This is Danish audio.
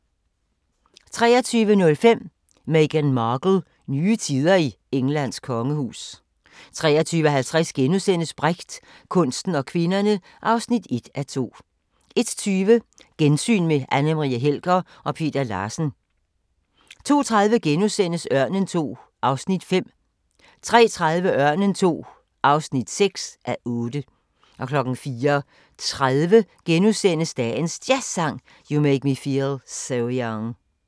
23:05: Meghan Markle - nye tider i Englands kongehus 23:50: Brecht – kunsten og kvinderne (1:2)* 01:20: Gensyn med Anne Marie Helger og Peter Larsen 02:30: Ørnen II (5:8)* 03:30: Ørnen II (6:8) 04:30: Dagens Jazzsang: You Make Me Feel So Young *